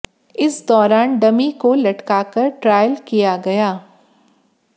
इस दौरान डमी को लटका कर ट्रायल किया गया